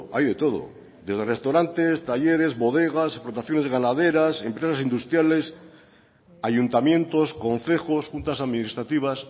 hay de todo desde restaurantes talleres bodegas explotaciones ganaderas empresas industriales ayuntamientos concejos juntas administrativas